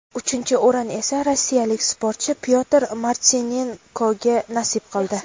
Uchinchi o‘rin esa rossiyalik sportchi Pyotr Martinenkoga nasib qildi.